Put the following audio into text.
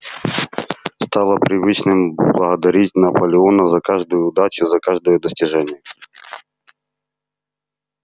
стало привычным благодарить наполеона за каждую удачу за каждое достижение